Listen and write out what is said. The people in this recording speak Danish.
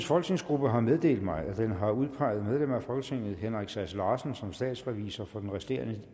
folketingsgruppe har meddelt mig at den har udpeget medlem af folketinget henrik sass larsen som statsrevisor for den resterende